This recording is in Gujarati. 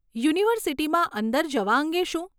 યુનિવર્સીટીમાં અંદર જવા અંગે શું?